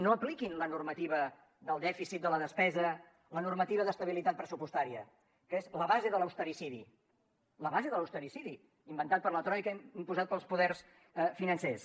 no apliquin la normativa del dèficit de la despesa la normativa d’estabilitat pressupostària que és la base de l’ austericidi la base de l’ austericidi inventat per la troica imposat pels poders financers